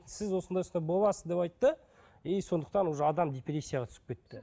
сіз осындай осындай боласыз деп айтты и сондықтан уже адам депрессияға түсіп кетті